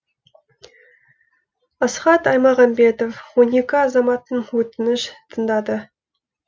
асхат аймағамбетов он екі азаматтың өтініш тыңдады